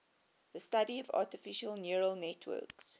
the study of artificial neural networks